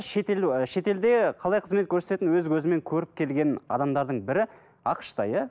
ы шетелде ы қалай қызмет көрсететінін өз көзімен көріп келген адамдардың бірі ақш та иә